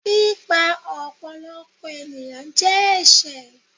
pípa ọ̀pọ̀lọpọ̀ ènìyàn jẹ ẹṣẹ